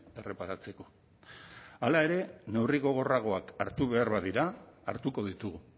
erreparatzeko hala ere neurri gogorragoak hartu behar badira hartuko ditugu